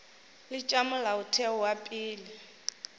le tša molaotheo wa pele